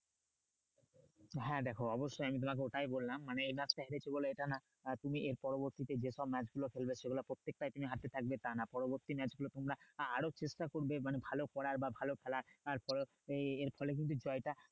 হ্যাঁ দেখো অবশ্যই আমি তোমাকে ওটাই বললাম মানে এই match টা হেরেছি বলে এটা না আহ তুমি এর পরবর্তীতে যেসব match গুলো খেলবে সেগুলো প্রত্যেকটাই তুমি হারতে থাকবে তা না পরবর্তী match গুলো আহ আরও চেষ্টা করবে মানে ভালো করার বা ভালো খেলার আর পরবর্তী এর ফলে কিন্তু জয়টা